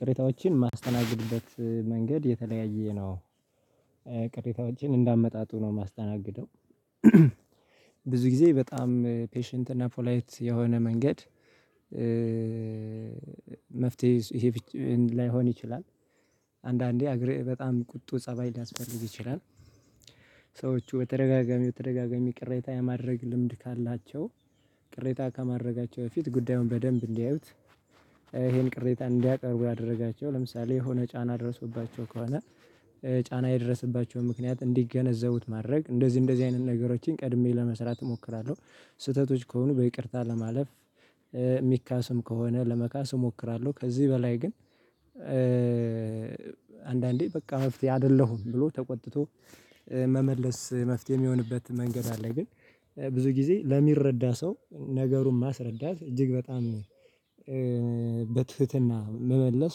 ቅሬታዎችን ማስተናገድበት መንገድ የተለያየ ነው። ቅሬታዎችን እንዳመጣጡ ነው የማስተናግደው። ብዙ ጊዜ በጣም ፔሽንት እና ፖላይት የሆነ መንገድ። መፍትሄ ላይሆን ይችላል። አንዳንዴ በጣም ቁጡ ፀባይ ሊያስፈልግ ይችላል። ሰዎቹ በተደጋጋሚ በተደጋጋሚ ቅሬታ የማድረግ ልምድ ካላቸው ቅሬታ ከማድረጋቸው በፊት ጉዳዩን በደንብ እንዲያዩት። ይሄን ቅሬታ እንዲያቀርቡ ያደረጋቸው ለምሳሌ የሆነ ጫና ደርሶባቸው ከሆነ ጫና የደረሰባቸው ምክንያት እንዲገነዘቡት ማድረግ እንደዚህ እንደዚህ አይነት ነገሮችን ቀድሜ ለመስራት እሞክራለሁ። ስህተቶች ከሆኑ በይቅርታ ለማለፍ የሚካስም ከሆነ ለመካስ እሞክራለሁ። ከዚህ በላይ ግን። አንዳንዴ በቃ መፍትሄ አይደለሁም ብሎ ተቆጥቶ መመለስ መፍትሄ የሚሆንበት መንገድ አለ። ግን ብዙ ጊዜ ለሚረዳ ሰው ነገሩን ማስረዳት እጅግ በጣም በትህትና መመለስ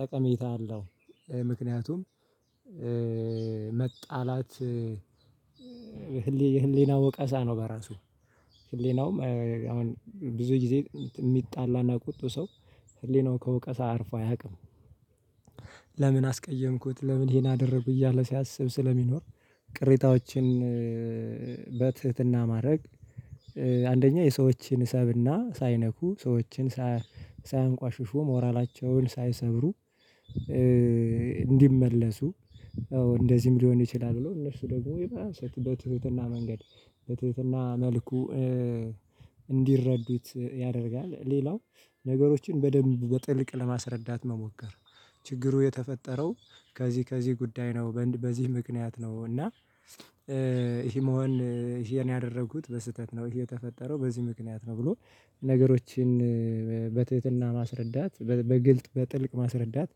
ጠቀሜታ አለው። ምክንያቱም መጣላት። ህሊናው ወቀሳ ነው በራሱ ህሊናውም አሁን ብዙ ጊዜ የሚጣላ እና ቁጡ ሰው ህሊናው ከወቀሳ አርፎ አያውቅም። ለምን አስቀየምኩት ለምን ይሄን አደረኩ እያለ ሲያስብ ስለሚኖር። ቅሬታዎችን በትህትና ማድረግ። አንደኛ የሰዎችን ስብእና ሳይነኩ ሰዎችን ሳያንቋሽሹ ሞራላቸውን ሳይሰብሩ። እንዲመለሱ ያው እንደዚህም ሊሆን ይችላል ብለው እነሱ ደግሞ የባሰ በትህትና መንገድ ትህትና መልኩ እንዲረዱት ያደርጋል። ሌላው ነገሮችን በደንብ በጥልቅ ለማስረዳት መሞከር። ችግሩ የተፈጠረው ከዚህ ከዚህ ጉዳይ ነው በዚህ ምክንያት ነው እና ይሄ መሆን ይሄን ያደረኩት በስህተት ነው። ይሄ የተፈጠረው በዚህ ምክንያት ነው ብሎ ነገሮችን በትህትና ማስረዳት በግልጥ በጥልቅ ማስረዳት።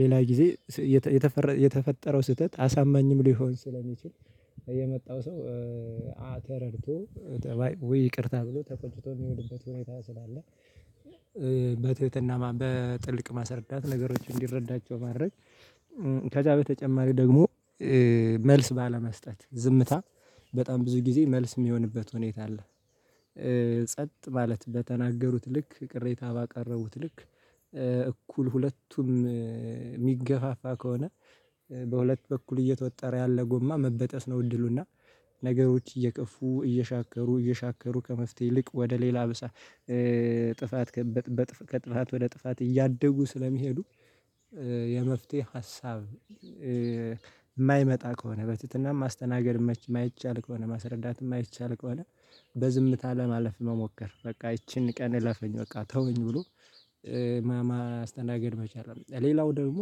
ሌላ ጊዜ የተፈጠረው ስህተት አሳማኝም ሊሆን ስለሚችል የመጣው ሰው ተረድቶ ውይ ይቅርታ ብሎ ተቆጭቶ የሚሄድበት ሁኔታ ስላለ። በትህትና በጥልቅ ማሰረዳት ነገሮችን እንዲረዳቸው ማድረግ። ከዛ በተጨማሪ ደግሞ መልስ ባለመስጠት ዝምታ በጣም ብዙ ጊዜ መልስ የሚሆንበት ሁኔታ አለ። ጸጥ ማለት በተናገሩት ልክ ቅሬታ ባቀረቡት ልክ እኩል ሁለቱም የሚገፋፋ ከሆነ በሁለት በኩል እየተወጠረ ያለ ጎማ መበጠስ ነው እድሉ እና። ነገሮች እየከፉ እየሻከሩ እየሻከሩ ከመፍትሄ ይልቅ ወደ ሌላ የባሰ ጥፋት። ከጥፋት ወደ ጥፋት እያደጉ ስለሚሄዱ። የመፍትሄ ሀሳብ። የማይመጣ ከሆነ በትህትናም ማስተናገድ የማይቻል ከሆነ ማስረዳት የማይቻል ከሆነ በዝምታ ለማለፍ መሞከር በቃ ይቺን ቀን እለፈኝ በቃ ተወኝ ብሎ። ማስተናገድ መቻል ሌላው ደግሞ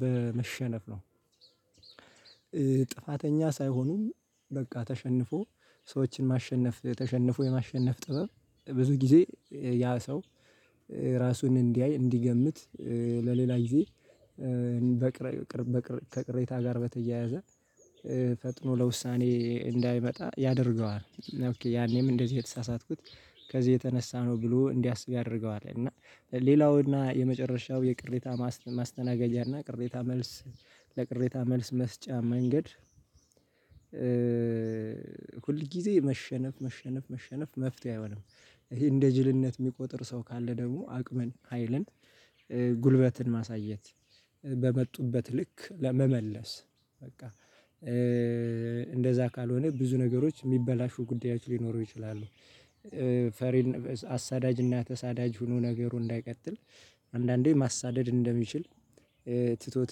በመሸነፍ ነው። ጥፋተኛ ሳይሆኑ በቃ ተሸንፎ ሰዎችን ማሸነፍ ተሸንፎ የማሸነፍ ጥበብ። ብዙ ጊዜ ያ ሰው ራሱን እንዲያይ እንዲገምት ለሌላ ጊዜ በቅር ከቅሬታ ጋር በተያያዘ ፈጥኖ ለውሳኔ እንዳይመጣ ያደርገዋል። ያኔም እንደዚህ የተሳሳትኩት ከዚህ የተነሳ ነው ብሎ እንዲያስብ ያደርገዋል። እና ሌላው እና የመጨረሻው የቅሬታ ማስተናገጂያ እና ቅሬታ መልስ ለቅሬታ መልስ መስጫ መንገድ። ሁልጊዜ መሸነፍ መሸነፍ መሸነፍ መፍትሄ አይሆንም። ይሄ እንደ ጅልነት የሚቆጥር ሰው ካለ ደግሞ አቅምን ሀይልን ጉልበትን ማሳየት በመጡበት ልክ ለመመለስ በቃ እንደዛ ካልሆነ ብዙ ነገሮች የሚበላሹ ጉዳዮች ሊኖሩ ይችላሉ። ፈሪን አሳዳጅ እና ተሳዳጅ ሆኖ ነገሩ እንዳይቀጥል። አንዳንዴ ማሳደድ እንደሚችል ትቶት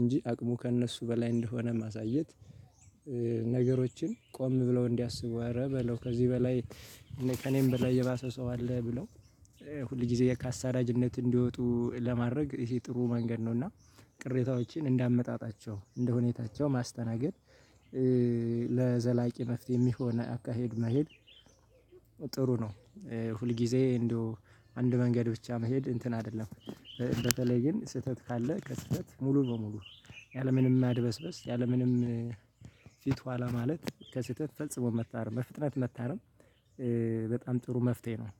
እንጂ አቅሙ ከእነሱ በላይ እንደሆነ ማሳየት። ነገሮችን ቆም ብለው እንዲያስቡ አረ በለው ከዚህ በላይ ከእኔም በላይ የባሰ ሰው አለ ብለው ሁልጊዜ ከአሳዳጅነት እንዲወጡ ለማድረግ ይሄ ጥሩ መንገድ ነው። እና ቅሬታዎችን እንደ አመጣጣቸው እንደ ሁኔታቸው ማስተናገድ። ለዘላቂ መፍትሄ የሚሆን አካሄድ መሄድ ጥሩ ነው። ሁልጊዜ እንደው አንድ መንገድ ብቻ መሄድ እንትን አይደለም። በተለይ ግን ስህተት ካለ ከስህተት ሙሉ በሙሉ ያለምንም ማድበስበስ ያለምንም ፊት ኋላ ማለት ከስህተት ፈጽሞ መታረም በፍጥነት መታረም። በጣም ጥሩ መፍትሄ ነው